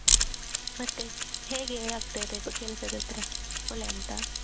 ಮತ್ತೇ ಹೇಗೆ ಆಗ್ತಾಯಿದೆ ಬ~ ಕೆಲಸದ ಹತ್ರ ಒಳ್ಳೆ ಉಂಟಾ.